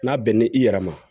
N'a bɛn n'i i yɛrɛ ma